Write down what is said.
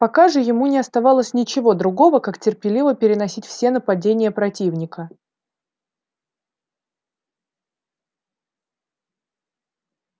пока же ему не оставалось ничего другого как терпеливо переносить все нападения противника